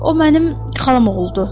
O mənim xalamoğludur.